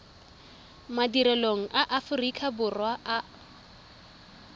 madirelong a aforika borwa a